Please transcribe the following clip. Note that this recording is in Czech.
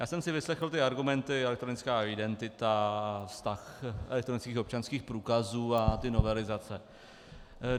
Já jsem si vyslechl ty argumenty, elektronická identita, vztah elektronických občanských průkazů a ty novelizace.